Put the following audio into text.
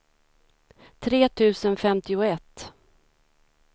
tre tusen femtioett